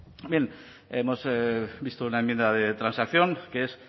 no bien hemos visto una enmienda de transacción que es